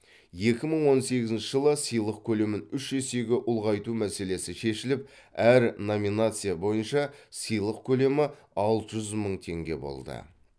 екі мың он сегізінші жылы сыйлық көлемін үш есеге ұлғайту мәселесі шешіліп әр номинация бойынша сыйлық көлемі алты жүз мың теңге болды